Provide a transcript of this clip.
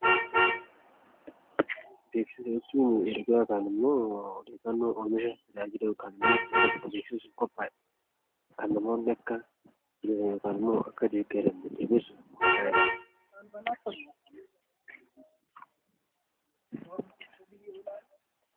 Beeksisa jechuun ergaa yookiin ammoo odeeffannoo oomisha, tajaajila yookaan ammoo yaada tokko beeksisuuf qophaa'e kan namoonni akka miseensa yookaan ammoo akka deeggaran jabeessuuf qophaa'eedha.